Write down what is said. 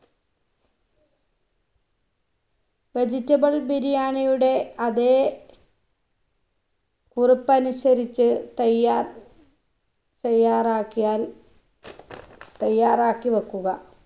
vegetable ബിരിയാണിയുടെ അതെ കുറുപ്പനുസരിച്ച് തയ്യാ തയ്യാറാക്കിയാൽ തയ്യാറാക്കി വെക്കുക